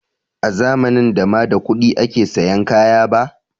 A zamanin da ma da kuɗi ake sayan kaya ba